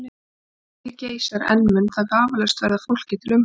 Ef stríðið geisar enn mun það vafalaust verða fólki til umhugsunar.